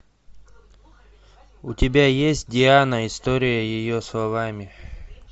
у тебя есть диана история ее словами